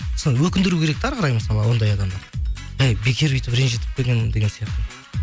өкіндіру керек те әрі қарай мысалы ондай адамды эй бекер бүйтіп ренжітіппін деген сияқты